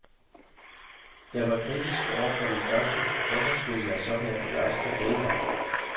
Jeg var kritisk over for den første, hvorfor skulle jeg så være begejstret denne gang?